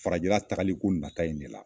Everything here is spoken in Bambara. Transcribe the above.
Farajɛla tagali ko nata in ne la